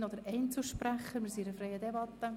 Gibt es Einzelsprecherinnen oder Einzelsprecher?